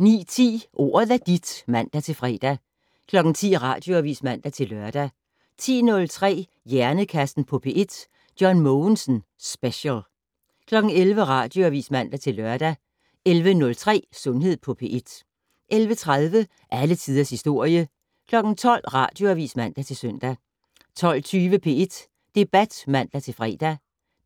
09:10: Ordet er dit (man-fre) 10:00: Radioavis (man-lør) 10:03: Hjernekassen på P1: John Mogensen Special 11:00: Radioavis (man-lør) 11:03: Sundhed på P1 11:30: Alle tiders historie 12:00: Radioavis (man-søn) 12:20: P1 Debat (man-fre)